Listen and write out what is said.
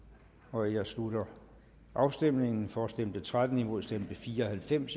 nu jeg slutter afstemningen for stemte tretten imod stemte fire og halvfems